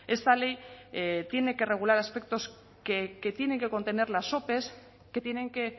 esta ley tiene que regular aspectos que tienen que contener las ope que tienen que